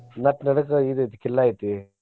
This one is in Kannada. ನಟ್ಟ್ ನಡ್ಕ ಇದ್ ಐತಿ ಕಿಲ್ಲಾ ಐತಿ.